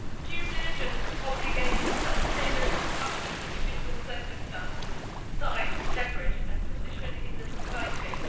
Due diligence obligations are tailored to the company's individual circumstances, size, leverage and position in the supply chain.